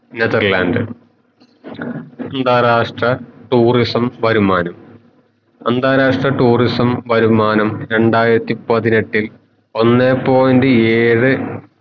Netherland അന്താരാഷ്ട്ര tourism വരുമാനം അന്താരാഷ്ട്ര tourism വരുമാനം രണ്ടായിരത്തി പതിനെട്ടിൽ ഒന്നേ point ഏഴേ